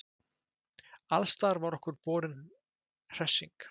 Alstaðar var okkur borin hressing.